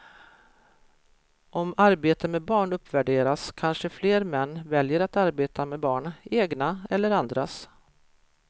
Om arbete med barn uppvärderas kanske fler män väljer att arbeta med barn, egna eller andras.